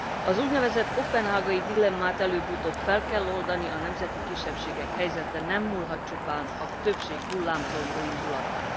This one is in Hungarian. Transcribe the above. Az úgynevezett koppenhágai dilemmát előbb utóbb fel kell oldani. A nemzeti kisebbségek helyzete nem múlhat csupán a többség hullámzó jóindulatán.